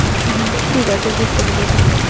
হম ঠিক আছে বুঝতে পেরেছি।